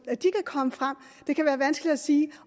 det kan være vanskeligt at sige